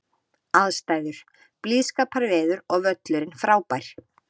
Aðstæður: Blíðskaparveður og völlurinn frábær.